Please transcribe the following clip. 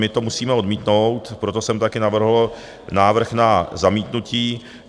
my to musíme odmítnout, proto jsem taky navrhl návrh na zamítnutí.